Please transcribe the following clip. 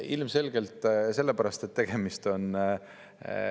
Ilmselgelt sellepärast, et tegemist on …